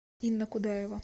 инна кудаева